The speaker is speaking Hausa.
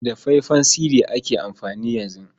Da faya-fayen sidi ake amfani yanzu.